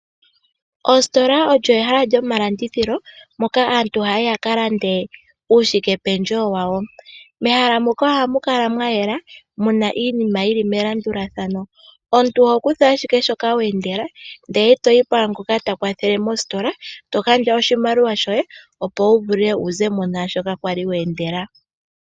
Ositola olyo ehala lyomalandithilo moka aantu haya yi ya kalanda uushike pendje wo wawo. Mehala moka ohamu kala mwayela muna iinima yili melandulathano, omuntu oho kutha ashike shoka weendela ndele toyi pwangoka takwathele mositola eto gandja oshimaliwa shoye opo wu vule wu zemo nashoka kwali weendela.